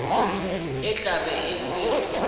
e tla be e se